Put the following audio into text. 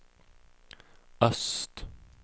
öst